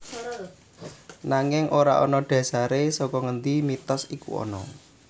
Nanging ora ana dhasare saka ngendi mitos iku ana